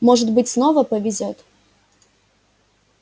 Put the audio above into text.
может быть снова повезёт